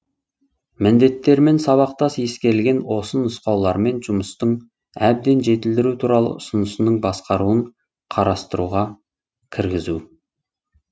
міндеттермен сабақтас ескерілген осы нұсқаулармен жұмыстың әбден жетілдіру туралы ұсынысының басқаруын қарастыруға кіргізу